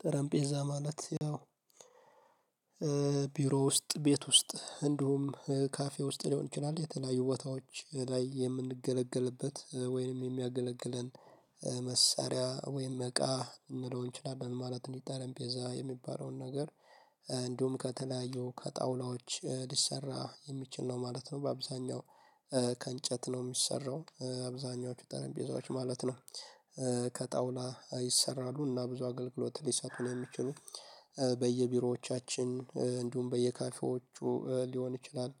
ጠረንጴዛ ማለት ያው ቢሮ ውስጥ ቤት ውስጥ እንዲሁም ካፌ ውስጥ ሊሆን ይችላል የተለያዩ ቦታዎች ላይ የምንገለግልበት ወይንም የሚያገለግለን መሳሪያ ወይም እቃ ልንለው እንችላለን ማለት ነው። ጠረጴዛ የሚባለውን ነገር። እንዲሁም ከተለያዩ ከጣውላዎች ሊሰራ የሚችል ነው ማለት ነው። በአብዛኛው ከእንጨት ነው የሚሰራው አብዛኛዎቹ ጠረጴዛዎች ማለት ነው። ከጣውላ ይሰራሉና ብዙ አገልግሎት ሊሰጡን የሚችሉ በየቢሮዎቻችን እንዲሁም በየካፌዎቹ ሊሆን ይችላል።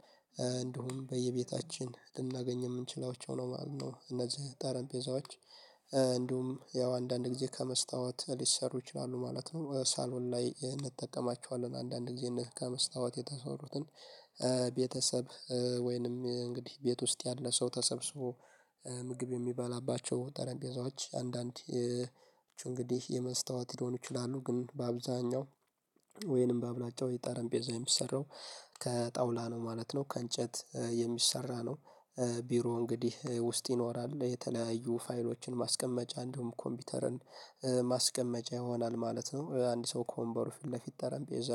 እንዲሁም በየቤታችን ልናገኝ የምንችላቸው ነው ማለት ነው። እነዚህ ጠረጴዛዎች እንዲሁም ያው አንዳንድ ጊዜ ከመስታወት ሊሰሩ ይችላሉ ማለት ነው። ሳሎን ላይ እንጠቀማቸዋለን አንዳንድ ጊዜ ከመስታወት የተሰሩትን። ቤተሰብ ወይንም እንግዲህ ቤት ውስጥ ያለ ሰው ተሰብስቦ ምግብ የሚበላባቸው ጠረጴዛዎች። አንዳንድ እንግዲህ የመስታወት ሊሆኑ ይችላሉ ግን በአብዛኛው ወይንም በአብላጫው ጠረጴዛ የሚሰራው ከጣውላ ነው ማለት ነው ከእንጨት የሚሰራ ነው። ቢሮ እንግዲህ ውስጥ ይኖራል የተለያዩ ፋይሎችን ማስቀመጫ እንዲውም ኮምፒውተርን ማስቀመጫ ይሆናል ማለት ነው። አንድ ሰው ከወንበሩ ፊት ለፊት ጠረጴዛ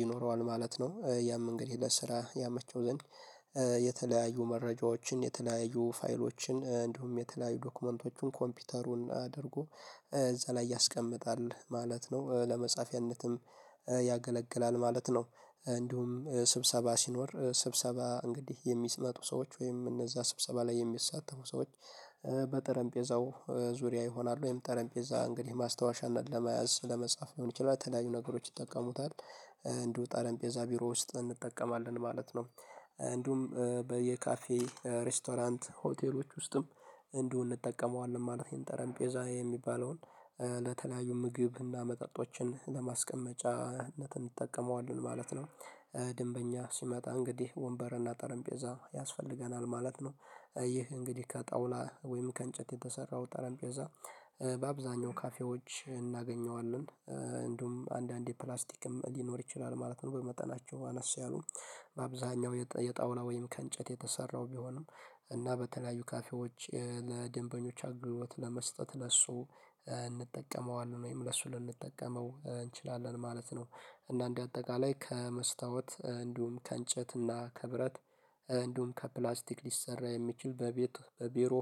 ይኖረዋል ማለት ነው። ያም እንግዲህ ለስራ ያመቸው ዘንድ የተለያዩ መረጃዎችን የተለያዩ ፋይሎችን እንዲሁም የተለያዩ ዶክመንቶችን ኮምፒውተሩን አድርጎ እዛ ላይ ያስቀምጣል ማለት ነው። ለመጻፊያነትም ያገለግላል ማለት ነው። እንዲሁም ስብሰባ ሲኖር ስብሰባ እንግዲህ የሚመጡ ሰዎች ወይም እነዛ ስብሰባ ላይ የሚሳተፉ ሰዎች በጠረንጴዛው ዙሪያ ይሆናሉ ወይም ጠረንጴዛ እንግዲህ ማስታወሻነት ለመያዝ ለመጻፍ ሊሆን ይችላል ተለያዩ ነገሮች ይጠቀሙታል። እንዲሁ ጠረንጴዛ ቢሮ ውስጥ እንጠቀማለን ማለት ነው። እንዲውም በየካፌ ሬስቶራንት ሆቴሎች ውስጥም እንዲው እንጠቀመዋለን ማለቴ ጠረንጴዛ የሚባለውን ለተለያዩ ምግብ እና መጠጦችን ለማስቀመጫነት እንጠቀመዋለን ማለት ነው። ደንበኛ ሲመጣ እንግዲህ ወንበርና ጠረንጴዛ ያስፈልገናል ማለት ነው። ይህ እንግዲህ ከጣውላ ወይም ከእንጨት የተሰራው ጠረንጴዛ በአብዛኛው ካፌዎች እናገኘዋለን እንዲውም አንዳንዴ ፕላስቲክም ሊኖር ይችላል ማለት ነው። በመጠናቸው አነስ ያሉ በአብዛኛው የጣውላ ወይም ከእንጨት የተሰራው ቢሆንም እና በተለያዩ ካፌዎች ለደንበኞች አገልግሎት ለመስጠት ለሱ እንጠቀመዋለን ወይም ለሱ ልንጠቀመው እንችላለን ማለት ነው። እና እንደ አጠቃላይ ከመስታወት እንዲሁም ከእንጨት እና ከብረት እንዲሁም ከፕላስቲክ ሊሰራ የሚችል በቤት በቢሮ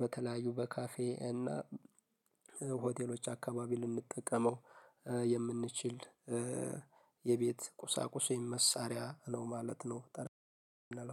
በተለያዩ በካፌ እና ሆቴሎች አካባቢ ልንጠቀመው የምንችል የቤት ቁሳቁስ የመሳሪያ ነው ማለት ነው